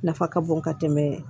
Nafa ka bon ka tɛmɛ